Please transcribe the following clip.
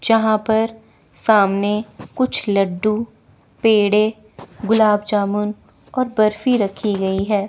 जहां पर सामने कुछ लड्डू पेड़े गुलाब जामुन और बर्फी रखी गई है।